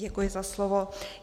Děkuji za slovo.